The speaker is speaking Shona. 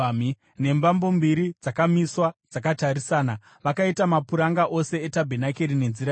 nembambo mbiri dzakamiswa dzakatarisana. Vakaita mapuranga ose etabhenakeri nenzira iyi.